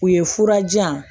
U ye fura jan